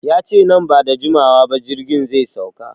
Yace nan bada jimawa ba jirgin zai sauka